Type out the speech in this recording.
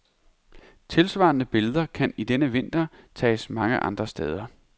Tilsvarende billeder kan i denne vinter tages mange andre steder.